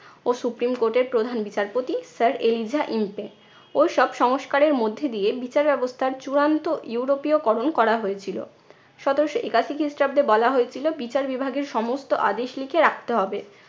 ও supreme court এর প্রধান বিচারপতি sir এলিজা ইম্পে ও সব সংস্কারের মধ্যে দিয়ে বিচার ব্যবস্থার চূড়ান্ত ইউরোপীয়করণ করা হয়েছিলো। সতেরশো একাশি খ্রিস্টাব্দে বলা হয়েছিল বিচার বিভাগের সমস্ত আদেশ লিখে রাখতে হবে।